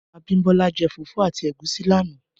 Abimbola jè fúfù àtí égúsì làná